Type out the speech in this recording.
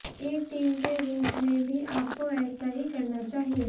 एक टीम के रूप में भी आपको ऐेसा ही करना चाहिए